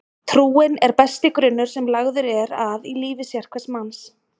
Trúin er besti grunnur sem lagður er að lífi sérhvers manns.